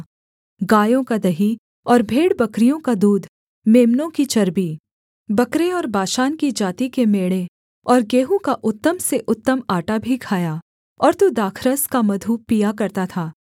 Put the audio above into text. गायों का दही और भेड़बकरियों का दूध मेम्नों की चर्बी बकरे और बाशान की जाति के मेढ़े और गेहूँ का उत्तम से उत्तम आटा भी खाया और तू दाखरस का मधु पिया करता था